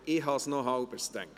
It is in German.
– Das habe ich mir gedacht.